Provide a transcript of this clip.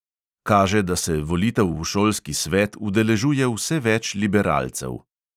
Kaže, da se volitev v šolski svet udeležuje vse več liberalcev.